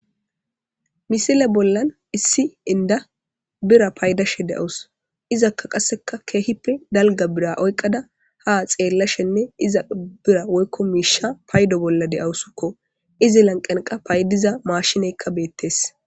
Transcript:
Misile bollan issi inda bira paydashe de'os izakka qasseka keehipe dalga bira oyqada ha xeellashenne iza bira woykko miisha paydo bolla de7awusukko izi lanqenqa paydiza maashineykka beettees.